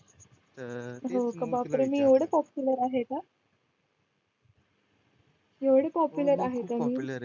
अं हो का बापरे मी एवढी पॉप्युलर आहे का? एवढी पॉप्युलर आहे का मी